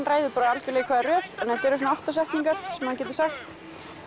ræðu r í hvaða röð þetta eru svona átta setningar sem hann getur sagt